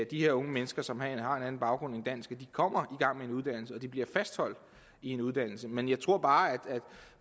de her unge mennesker som har en anden baggrund end dansk kommer i de bliver fastholdt i en uddannelse men jeg tror bare at